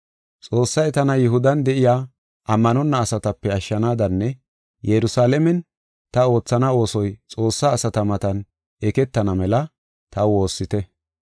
Xoossay tana Yihudan de7iya ammanonna asatape ashshanaadanne Yerusalaamen ta oothana oosoy Xoossaa asata matan eketana mela taw woossite.